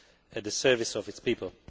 at the service of its people.